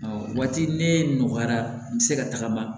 waati ne nɔgɔyara n bɛ se ka tagama